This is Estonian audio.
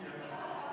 Hääletustulemused